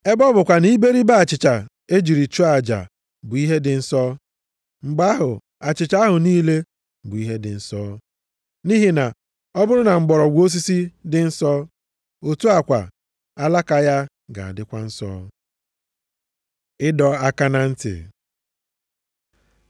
Ebe ọ bụkwa na iberibe achịcha e jiri chụọ aja bụ ihe dị nsọ, mgbe ahụ, achịcha ahụ niile bụ ihe dị nsọ. Nʼihi na ọ bụrụ na mgbọrọgwụ osisi dị nsọ, otu a kwa, alaka ya ga-adịkwa nsọ. Ịdọ aka na ntị